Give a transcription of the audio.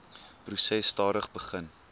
proses stadig begin